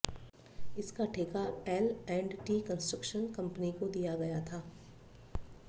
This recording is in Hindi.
इसका ठेका L and T construction company को दिया गया था